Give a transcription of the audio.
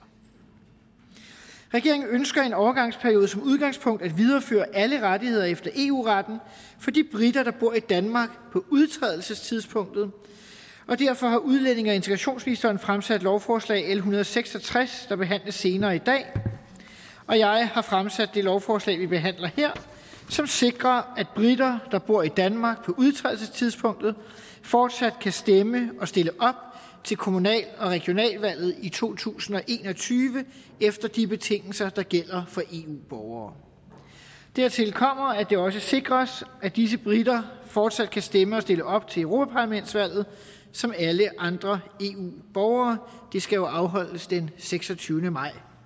regeringen ønsker i en overgangsperiode som udgangspunkt at videreføre alle rettigheder efter eu retten for de briter der bor i danmark på udtrædelsestidspunktet og derfor har udlændinge og integrationsministeren fremsat lovforslag nummer l en hundrede og seks og tres der behandles senere i dag og jeg har fremsat det lovforslag vi behandler her og som sikrer at briter der bor i danmark på udtrædelsestidspunktet fortsat kan stemme og stille op til kommunal og regionalvalget i to tusind og en og tyve efter de betingelser der gælder for eu borgere dertil kommer at det også sikres at disse briter fortsat kan stemme og stille op til europaparlamentsvalget som alle andre eu borgere det skal jo afholdes den seksogtyvende maj